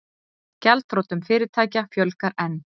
Gjaldþrotum fyrirtækja fjölgar enn